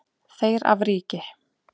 Þeir af ríki